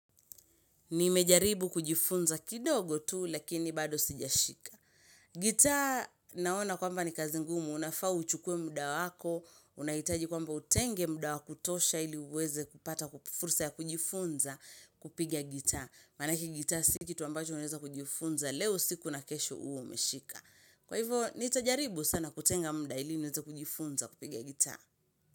Nimejaribu kujifunza kidogo tu lakini bado sijashika. Guitar naona kwamba ni kazi ngumu unafaa uchukue muda wako unahitaji kwamba utenge muda wa kutosha ili uweze kupata ku fursa ya kujifunza kupigia gita. Manake guitar si kitu ambacho unaeza kujifunza leo usiku na kesho uwe umeshika. Kwa hivyo nitajaribu sana kutenga muda ili niweza kujifunza kupigia guitar.